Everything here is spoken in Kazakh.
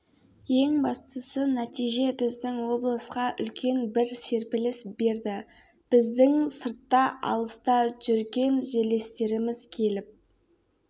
ең бастысы нәтиже біздің облысқа үлкен бір серпіліс берді біздің сыртта алыста жүркен жерлестеріміз келіп